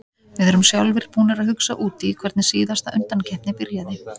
Við erum sjálfir búnir að hugsa út í hvernig síðasta undankeppni byrjaði.